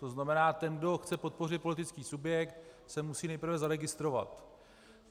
To znamená, ten, kdo chce podpořit politický subjekt, se musí nejprve zaregistrovat.